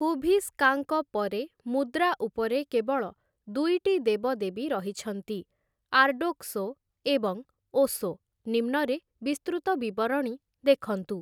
ହୁଭିଷ୍କାଙ୍କ ପରେ, ମୁଦ୍ରା ଉପରେ କେବଳ ଦୁଇଟି ଦେବଦେବୀ ରହିଛନ୍ତି, ଆର୍ଡ଼ୋକ୍ସୋ ଏବଂ ଓଶୋ, ନିମ୍ନରେ ବିସ୍ତୃତ ବିବରଣୀ ଦେଖନ୍ତୁ ।